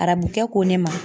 Arabu kɛ ko ne ma.